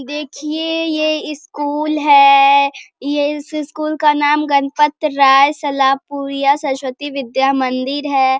देखिये ये स्कूल है ये इस स्कूल का नाम गणपतराय सलारपुरिया सरस्वती विद्या मंदिर है।